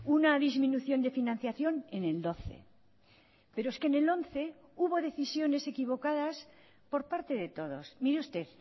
una disminución de financiación en el doce pero es que en el once hubo decisiones equivocadas por parte de todos mire usted